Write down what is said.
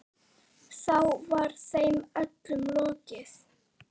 Þá var þeim öllum lokið.